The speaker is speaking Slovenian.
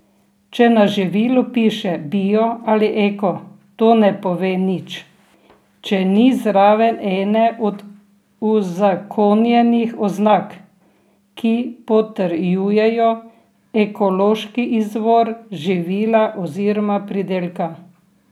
Če na živilu piše bio ali eko, to ne pove nič, če ni zraven ene od uzakonjenih oznak, ki potrjujejo ekološki izvor živila oziroma pridelka.